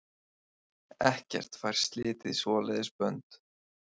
Ekkert fær slitið svoleiðis bönd.